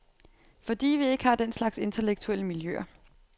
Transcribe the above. Fordi vi ikke har den slags intellektuelle miljøer.